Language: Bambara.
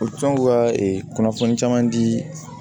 U bɛ t'o ka kunnafoni caman di